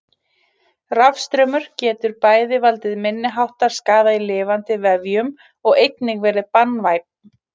Rafstraumur getur bæði valdið minniháttar skaða í lifandi vefjum og einnig verið banvænn.